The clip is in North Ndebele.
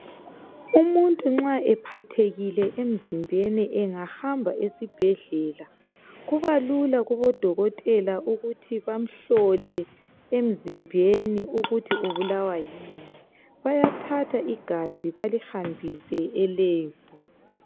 Umuntu nxa ephathekile emzimbeni engahamba esibhedlela kuba lula kobo dokotela ukuthi bamhlole emzimbeni ukuthi ubulawa yini bayathatha igazi balibambise elab.